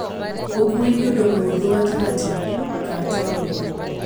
Ũkuui nĩ ũndũ mũhũthũ gatagtĩ ka taũni.